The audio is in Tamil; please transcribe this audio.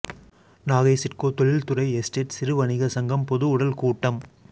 நாகை சிட்கோ தொழில்துறை எஸ்டேட் சிறு வணிக சங்கம் பொது உடல் கூட்டம்